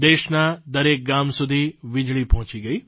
દેશના દરેક ગામ સુધી વીજળી પહોંચી ગઇ